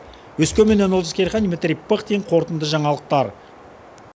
өскеменнен олжас керейхан дмитрий пыхтин қорытынды жаңалықтар